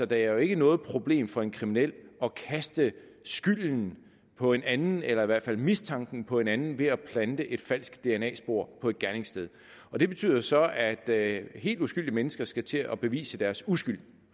det er jo ikke noget problem for en kriminel at kaste skylden på en anden eller i hvert fald mistanken på en anden ved at plante et falsk dna spor på et gerningssted og det betyder jo så at helt uskyldige mennesker skal til at bevise deres uskyld